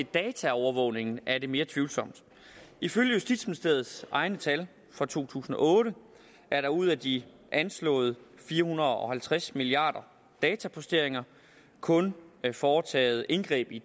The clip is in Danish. dataovervågning er det mere tvivlsomt ifølge justitsministeriets egne tal for to tusind og otte er der ud af de anslåede fire hundrede og halvtreds milliarder dataposteringer kun foretaget indgreb i